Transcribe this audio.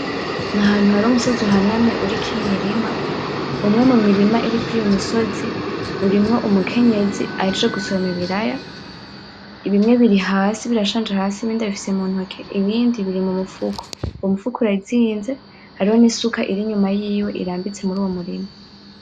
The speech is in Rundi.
N'ahantu hari umusozi uhanamye uriko Imirima umwe mumiri iri kurizo misozi urimwo umukenyezi ahejeje gusoroma Ibiraya bimwe biri hasi biranshanje hasi ibindi abifise muntoke ibindi biri mumufuko. Umufuko urazinze hariho n'isuka iri inyuma yiwe irambitse muruwo murima.